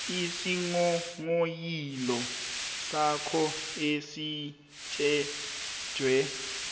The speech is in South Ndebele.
isinghonghoyilo sakho esitjhejwe